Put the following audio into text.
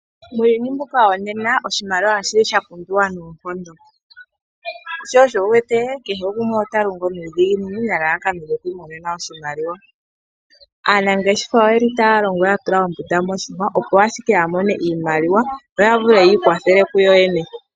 Muuyuni mbuka wonena oshimaliwa oshili sha pumbiwa noonkondo sho osho wu wete kehe gumwe ota longo nuudhiginini nelalakano lyoku imonena oshimaliwa. Aanangeshefa oyeli taya longo ya tula ombunda moshihwa opo ashike ya mone iimaliwa yo ya vule yi ikwathele kuyoyene.